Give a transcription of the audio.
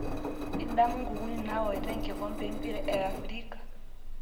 Idamu nkuukuni naoita enkikombe empira e afirika